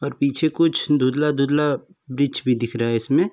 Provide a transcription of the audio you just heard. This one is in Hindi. और पीछे कुछ धुंधला-धुंधला बीच में दिख रहा है इसमें।